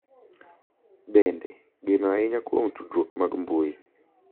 Bende, geno ahinya kuom tudruok mag mbui